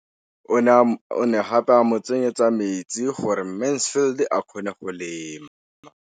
O ne gape a mo tsenyetsa metsi gore Mansfield a kgone go lema.